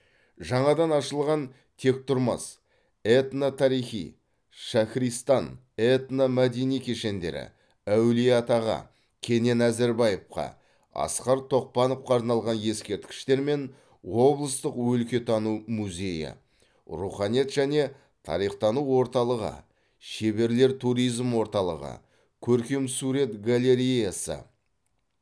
жаңадан ашылған тектұрмас этно тарихи шахристан этно мәдени кешендері әулиеатаға кенен әзірбаевқа асқар тоқпановқа арналған ескерткіштер мен облыстық өлкетану музейі руханият және тарихтану орталығы шеберлер туризм орталығы көркемсурет галереясы